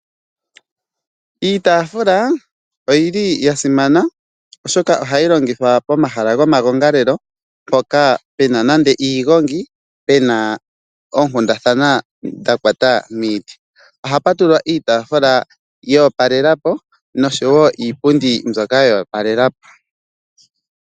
Iitafula oyili ya simana oshoka ohayi longithwa pomahala gomagongalelo mpoka pe na nande iigongi pe na oonkundathana dha kwata miiti ohapu tulwa iitafula yoopalelapo noshowo iipundi mbyoka yoopalelapo.